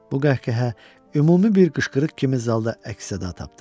Bu qəhqəhə ümumi bir qışqırıq kimi zalda əks-səda tapdı.